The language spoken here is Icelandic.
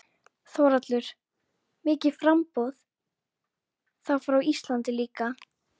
Þórhallur: Mikið framboð, þá frá Íslandi líka?